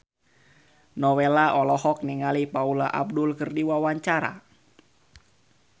Nowela olohok ningali Paula Abdul keur diwawancara